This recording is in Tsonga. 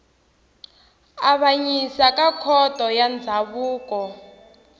avanyisa ka khoto ya ndzhavuko